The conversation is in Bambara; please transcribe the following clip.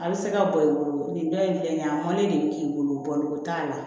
A bɛ se ka bɔ i bolo nin dɔ in filɛ nin ye a mɔnnen de bɛ k'i bolo baloko t'a la